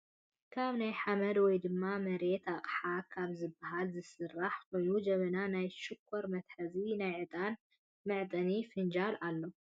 ካብ ናይ ሓመድ ወይ ድማ መሬተ ኣቅሓ ካብ ዝብሃል ዝስራሕ ኮይኑጀበናን ናይ ሽኮር መትሐዝን ናይ ዕጣን መዕጠኒ ፍንጃል ኣሎ ።